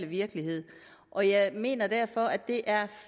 virkelighed og jeg mener derfor at det er